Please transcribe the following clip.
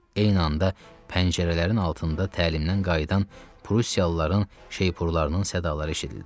Eyni anda pəncərələrin altında təlimdən qayıdan prussiyalıların şeypurlarının sədalara eşidildi.